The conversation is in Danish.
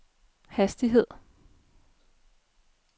hastighed